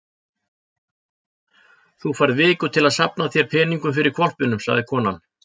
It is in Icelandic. Þú færð viku til að safna þér peningum fyrir hvolpinum, sagði konan.